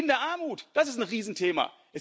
die Kinderarmut das ist ein Riesenthema.